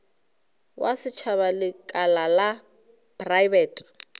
wa setšhaba lekala la praebete